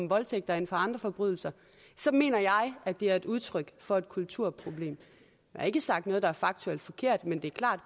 voldtægter end for andre forbrydelser så mener jeg at det er udtryk for et kulturproblem jeg har ikke sagt noget der er faktuelt forkert men det er klart